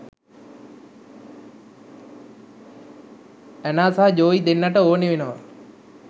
Anna සහ Joey දෙන්නට ඕනේ වෙනවා